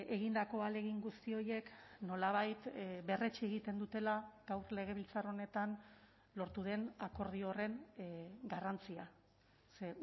egindako ahalegin guzti horiek nolabait berretsi egiten dutela gaur legebiltzar honetan lortu den akordio horren garrantzia ze